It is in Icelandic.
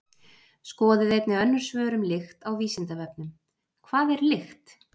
Skoðið einnig önnur svör um lykt á Vísindavefnum: Hvað er lykt?